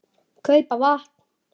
. kaupa vatn.